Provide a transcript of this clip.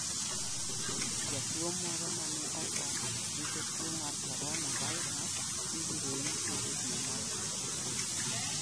Jatuwo moro ma ne otho nikech tuo mar coronavirus ibiro yike e dwe mar Septemba.